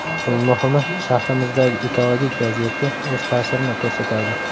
Eng muhimi, shahrimizdagi ekologik vaziyatga o‘z ta’sirini ko‘rsatadi.